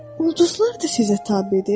Ulduzlar da sizə tabedir?